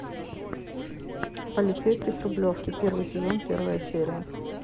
полицейский с рублевки первый сезон первая серия